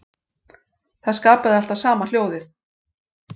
Það skapaði alltaf sama hljóðið.